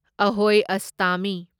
ꯑꯍꯣꯢ ꯑꯁꯇꯥꯃꯤ